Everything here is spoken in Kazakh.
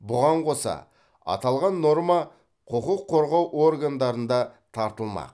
бұған қоса аталған норма құқық қорғау органдарында тартылмақ